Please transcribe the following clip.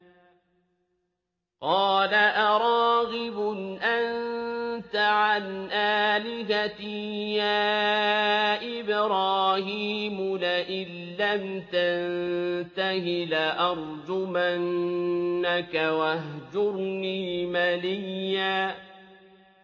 قَالَ أَرَاغِبٌ أَنتَ عَنْ آلِهَتِي يَا إِبْرَاهِيمُ ۖ لَئِن لَّمْ تَنتَهِ لَأَرْجُمَنَّكَ ۖ وَاهْجُرْنِي مَلِيًّا